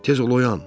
Tez ol oyan.